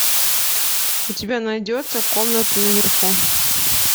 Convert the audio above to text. у тебя найдется комната наверху